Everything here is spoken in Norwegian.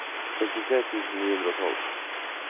sekstitre tusen ni hundre og tolv